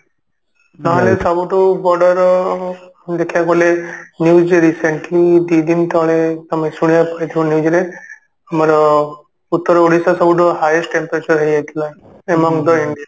ନହେଲେ ସବୁଠୁ ବଡର ଦେଖିବାକୁ ଗଲେ news ରେ recently ଦି ଦିନ ତଳେ ତମେ ଶୁଣିବାକୁ ପାଇଥିବ news ରେ ଆମର ଉତ୍ତର ଓଡିଶା ସବୁଠୁ highest temperature ହେଇଯାଇଥିଲା among the india